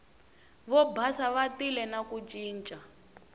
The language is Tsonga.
vobasa va tile na ku ncinca